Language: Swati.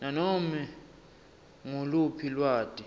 nanome nguluphi lwati